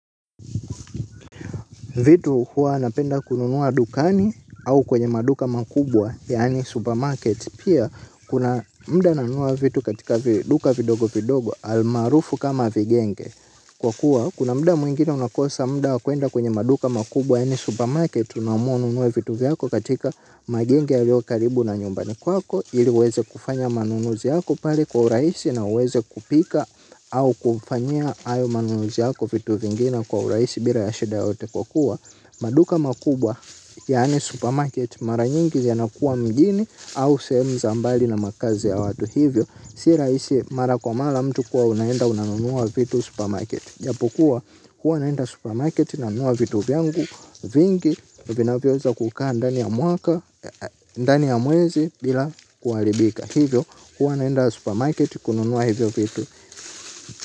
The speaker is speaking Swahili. Vitu huwa napenda kununua dukani au kwenye maduka makubwa, yaani supermarket, pia kuna mda nanunua vitu katika duka vidogo vidogo almaarufu kama vigenge. Kwa kuwa kuna mda mwingine unakosa mda wa kuenda kwenye maduka makubwa yaani supermarket unaamua ununue vitu vyako katika magenge yalio karibu na nyumbani kwako ili uweze kufanya manunuzi yako pare kwa uraisi na uweze kupika au kufanyia ayo manunuzi yako vitu vingine kwa uraisi bila ya shida yoyote kwa kuwa maduka makubwa, yaani supermarket, mara nyingi yanakua mjini au sehemu za mbali na makazi ya watu hivyo si rahisi mara kwa mara mtu kuwa unaenda unanunua vitu supermarket. Japokuwa, huwa naenda supermarket nanunua vitu vyangu vingi vinavyoweza kukaa ndani ya mwaka, ndani ya mwezi bila kuharibika. Hivyo, huwa naenda supermarket kununua hivyo vitu.